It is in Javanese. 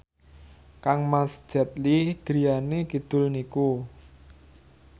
kangmas Jet Li griyane kidul niku